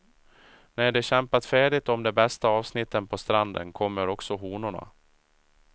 När de kämpat färdigt om de bästa avsnitten på stranden, kommer också honorna.